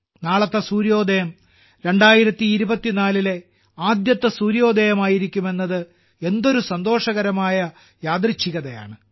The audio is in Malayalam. നാളത്തെ സൂര്യോദയം 2024ലെ ആദ്യത്തെ സൂര്യോദയമായിരിക്കുമെന്നത് എന്തൊരു സന്തോഷകരമായ യാദൃശ്ചികതയാണ്